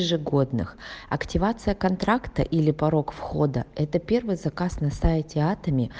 ежегодных активация контракта или порог входа это первый заказ на сайте атоми